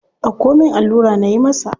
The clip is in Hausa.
Dauko min allura nayi masa.